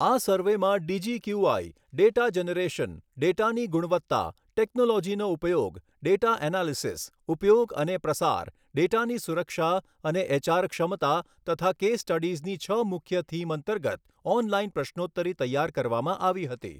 આ સર્વેમાં DGQI data generation, ડેટાની ગુણવત્તા, ટેક્નોલોજીનો ઉપયોગ, ડેટા એનાલીસિસ, ઉપયોગ અને પ્રસાર, ડેટાની સુરક્ષા અને એચઆર ક્ષમતા તથા કેસ સ્ટડીઝની છ મુખ્ય થીમ અંતર્ગત ઓનલાઇન પ્રશ્રોત્તરી તૈયાર કરવામાં આવી હતી.